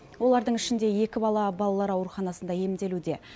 олардың ішінде екі бала балалар ауруханасында емделуде